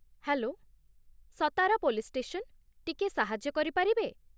Hello, Satara police station, ଟିକିଏ ସାହାଯ୍ୟ କରିପାରିବେ ?